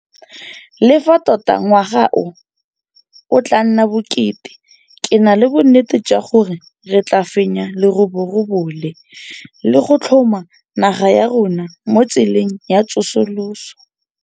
Le fa tota ngwaga o o tla nna bokete, ke na le bonnete jwa gore re tla fenya leroborobo le, le go tlhoma naga ya rona mo tseleng ya tsosoloso.